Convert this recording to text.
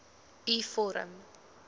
u vorm